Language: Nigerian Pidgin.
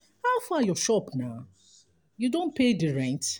how far your shop na? you don pay di rent?